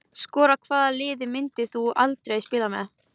Skora Hvaða liði myndir þú aldrei spila með?